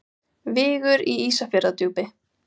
Vigur í Ísafjarðardjúpi.